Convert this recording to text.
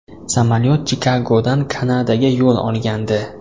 Samolyot Chikagodan Kanadaga yo‘l olgandi.